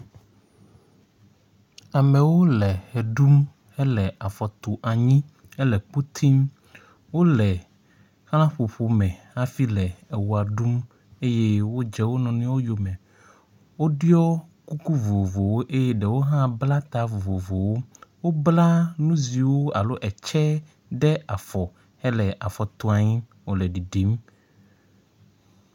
Amewo le ʋe ɖum hele afɔ tum anyi hele kpo tim. Wo le xlaƒoƒo me afi le ewɔ ɖum eye wodze wo nɔnɔewo yo me. Woɖɔ kuku vovovowo eye ɖewo hã bla ta vovovowo. Wobla nu ziwo alo etse ɖe afɔ hele afɔ tu anyi wo le ɖiɖim.